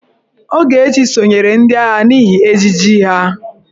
Ogechi sonyeere ndị agha n'ihi ejiji ha.